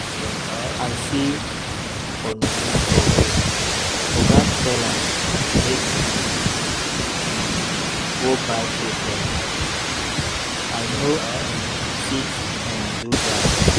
I see Onome for road, oga tell am make im um go buy food for am. I no um fit um do dat